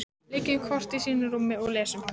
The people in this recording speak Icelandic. Liggjum hvor í sínu rúmi og lesum.